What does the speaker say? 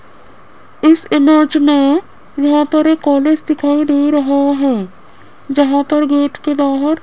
इस इमेज में यहां पे एक कॉलेज दिखाई दे रहा है जहां पर गेट के बाहर --